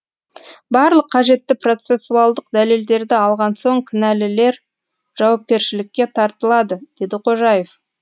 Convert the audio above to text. барлық қажетті процессуалдық дәлелдерді алған соң кінәлілер жауапкершілікке тартылады деді қожаев